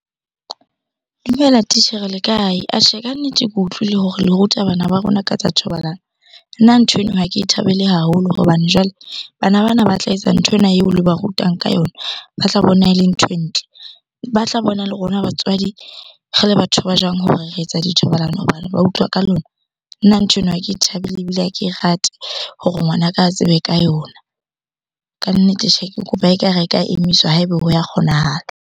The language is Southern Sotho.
Dumela titjhere le kae? Atjhe ka nnete, ke utlwile hore le ruta bana ba rona ka tsa thobalano. Nna nthweno ha ke e thabele haholo hobane jwale bana bana ba tla etsa nthwena eo le ba rutang ka yona, ba tla bona e le nthwe ntle ba tla bona. Le rona batswadi re le batho ba jwang hore re etsa dithobalano hoba ba utlwa ka lona. Nna ntho eno ha ke thabele ebile ha ke rate hore ngwanaka a tsebe ka yona. Kannete tjhe, ke kopa ekare e ka emiswa ha eba ho ya kgonahala.